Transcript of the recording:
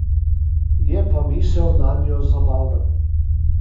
Je pa misel nanjo zabavna.